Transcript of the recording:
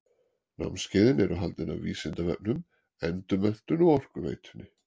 Námskeiðin eru haldin af Vísindavefnum, Endurmenntun og Orkuveitunni.